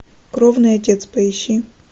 кровный отец поищи